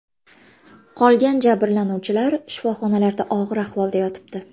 Qolgan jabrlanuvchilar shifoxonlarda og‘ir ahvolda yotibdi.